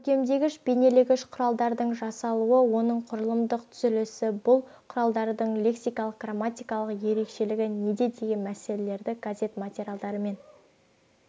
көркемдегіш бейнелегіш құралдардың жасалуы оның құрылымдық түзілісі бұл құралдардың лексикалық грамматикалық ерекшелігі неде деген мәселелерді газет материалдарымен